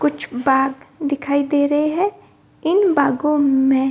कुछ बाग दिखाई दे रहे हैं | इन बागो में --